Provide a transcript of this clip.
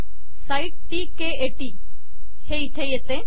site टीके 80 हे इथे येते